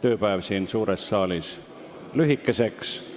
tööpäev siin suures saalis lühikeseks.